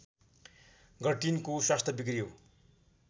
गर्टिनको स्वास्थ्य बिग्रियो